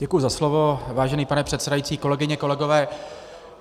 Děkuji za slovo, vážený pane předsedající, kolegyně, kolegové.